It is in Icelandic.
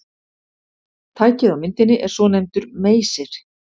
Tækið á myndinni er svonefndur meysir.